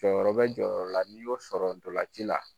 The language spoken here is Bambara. Jɔyɔrɔ bɛ jɔyɔrɔ la n'i y'o sɔrɔ ndolanci la